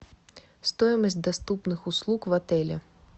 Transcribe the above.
стоимость доступных услуг в отеле